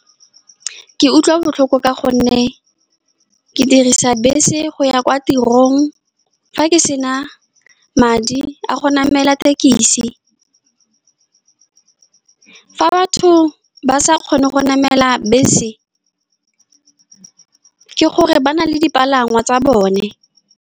Ke utlwa botlhoko ka gonne ke dirisa bese go ya kwa tirong. Fa ke sena madi a go namela tekisi, fa batho ba sa kgone go namela bese, ke gore ba na le dipalangwa tsa bone.